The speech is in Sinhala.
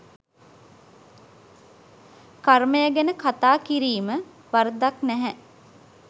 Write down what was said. කර්මය ගැන කතා කිරීම වරදක් නැහැ.